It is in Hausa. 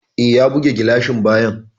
E, ya buge gilashin bayan.